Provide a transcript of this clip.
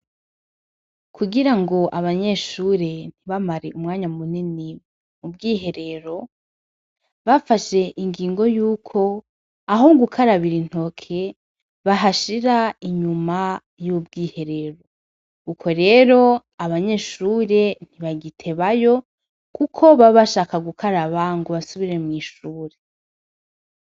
Kugira ngo abanyeshure ntibamare umwanya munini mu bwiherero, bafashe ingingo yuko aho gukarabira intoke bahashira inyuma y'ubwiherero, uko rero abanyeshure ntibagitebayo kuko baba bashaka gukaraba ngo basubire mw'ishure.